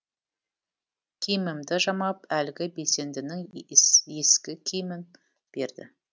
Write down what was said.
киімімді жамап әлгі белсендінің ескі киімін берді